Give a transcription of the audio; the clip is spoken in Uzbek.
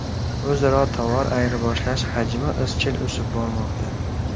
O‘zaro tovar ayirboshlash hajmi izchil o‘sib bormoqda.